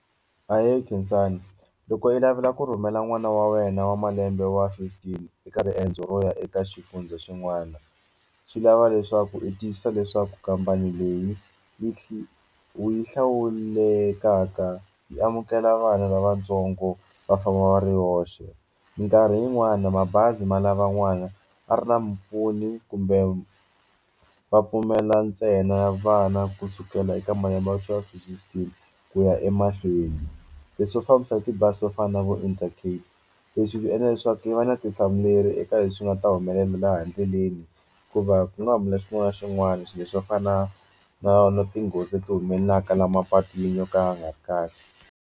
Ahee, Khensani loko yi lavela ku rhumela n'wana wa wena wa malembe wa fifteen eka riendzo ro ya eka xifundza xin'wana swi lava leswaku i tiyisisa leswaku khampani leyi yi u yi hlawulekaka yi amukela vana lavatsongo va famba va ri hoxe mikarhi yin'wani mabazi ma lavan'wana a ri na mupfuni kumbe va pfumela ntsena vana kusukela eka malembe ya sweswi swi tele ku ya emahlweni leswi swo fambisa hi tibazi swo fana na vo Intercape leswi hi swi endla leswaku yi va na vutihlamuleri eka leswi nga ta humelela laha endleleni hikuva ku nga humelela xin'wana na xin'wana swilo leswi va fana na na na tinghozi leti humelelaka laha mapatwini yo ka ya nga ri kahle.